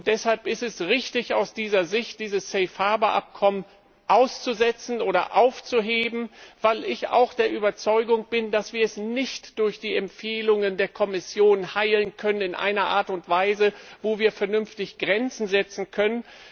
Deshalb ist es richtig, aus dieser Sicht das Safe Harbour Abkommen auszusetzen oder aufzuheben, weil ich auch der Überzeugung bin, dass wir es nicht durch die Empfehlungen der Kommission in einer Art und Weise heilen können, in der wir vernünftig Grenzen setzen können.